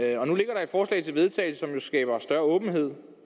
og til vedtagelse som jo skaber større åbenhed